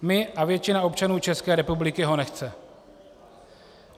My a většina občanů České republiky ho nechceme.